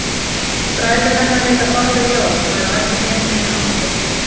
Bræður hennar heita báðir Jón og eru á elliheimilinu á Klaustri.